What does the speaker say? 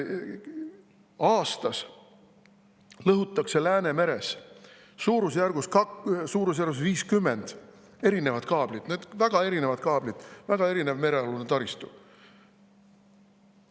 Aastas lõhutakse Läänemeres suurusjärgus 50 erinevat kaablit, need on väga erinevad kaablid, väga erinev merealune taristu.